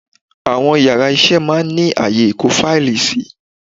Àwọn yàrá isé máa ní ààyè ìkó fáìlì sí